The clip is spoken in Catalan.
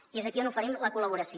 i és aquí on oferim la col·laboració